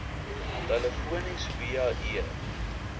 telefonies via e